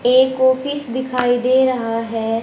एक ऑफिस दिखाई दे रहा है।